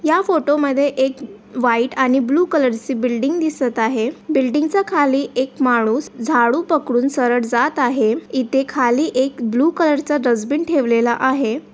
या फोटो मधे येक व्हाइट आणि बालू कलर ची बिल्डिंग दिसत आहे बिल्डिंग च्या खाली येक मानुस झाड़ू पकडून सरल जात आहे इथे खाली येक ब्लू कलर चा डस्टबिन ठेवलेला आहे.